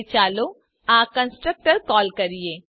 હવે ચાલો આ કન્સ્ટ્રક્ટર કોલ કરીએ